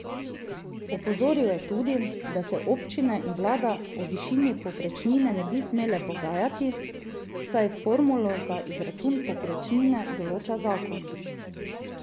Opozoril je tudi, da se občine in vlada o višini povprečnine ne bi smele pogajati, saj formulo za izračun povprečnine določa zakon.